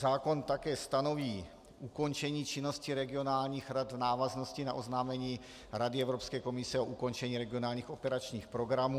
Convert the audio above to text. Zákon také stanoví ukončení činnosti regionálních rad v návaznosti na oznámení Rady Evropské komise o ukončení regionálních operačních programů.